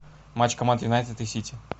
матч команд юнайтед и сити